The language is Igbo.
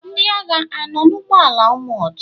Ndị agha anọ n'ụgbọala amọọ̀d?